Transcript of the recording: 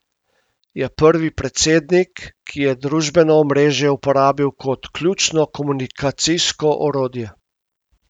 Je prvi predsednik, ki je družbeno omrežje uporabil kot ključno komunikacijsko orodje.